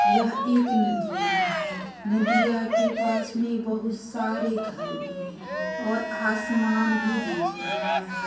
यह एक नदिया है नदिया के पास मे बहुत सारे घर भी है और आसमान भी दिख रहा है।